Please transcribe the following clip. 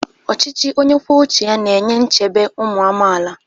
Ọchịchị onye kwuo uche ya na-enye nchebe ụmụ amaala.